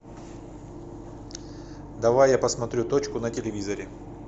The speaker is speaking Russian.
давай я посмотрю точку на телевизоре